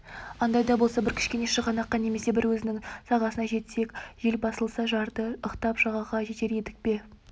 андайда болса бір кішкене шығанаққа немесе бір өзеннің сағасына жетсек жел басылса жарды ықтап жағаға жетер едік деп